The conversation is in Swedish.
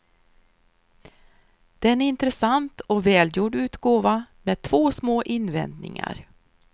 Det är en intressant och välgjord utgåva, med två små invändningar.